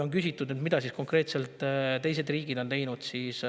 On küsitud, mida teised riigid on konkreetselt teinud.